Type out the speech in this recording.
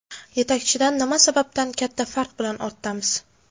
Yetakchidan nima sababdan katta farq bilan ortdamiz?